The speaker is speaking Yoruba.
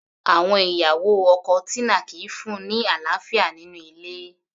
Àwọn ìyàwó ọkọ Tina kìí fún-un ní àlàáfíà nínú ilé